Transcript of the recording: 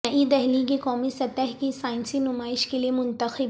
نئی دہلی کی قومی سطح کی سائنسی نمائش کیلئے منتخب